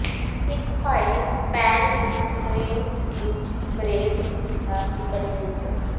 ਇੱਕ ਫਾਈਨਿੰਗ ਪੈਨ ਵਿੱਚ ਕਰੀਮ ਵਿੱਚ ਬਰੇਜ਼ ਕੀਤਾ ਚਿਕਨ ਵਿਅੰਜਨ